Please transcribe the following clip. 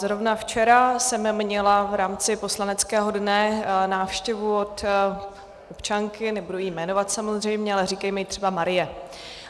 Zrovna včera jsem měla v rámci poslaneckého dne návštěvu od občanky, nebudu ji jmenovat, samozřejmě, ale říkejme jí třeba Marie.